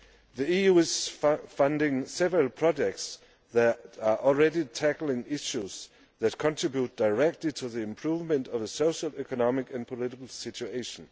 The EU is funding several projects that are already tackling issues that contribute directly to the improvement of the social, economic and political situation.